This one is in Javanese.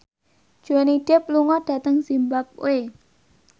Johnny Depp lunga dhateng zimbabwe